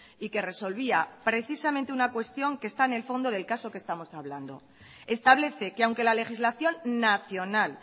y que resolvía precisamente una cuestión que está en el fondo del caso que estamos hablando establece que aunque la legislación nacional